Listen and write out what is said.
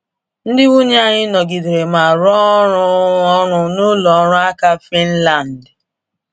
Ndị nwunye anyị nọgidere ma rụọ ọrụ ọrụ n’ụlọ ọrụ alaka Finland.